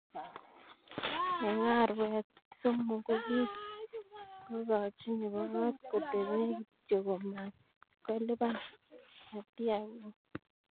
Eng' arawet somok kokikakochi nebo kot kotepe kityo ko matkolipan, atia koon.